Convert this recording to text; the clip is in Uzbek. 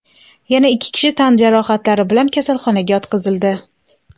Yana ikki kishi tan jarohatlari bilan kasalxonaga yotqizildi.